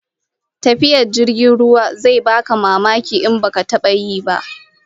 Tafiya ta jirgin ruwa zai baka mamaki in baka taba yi ba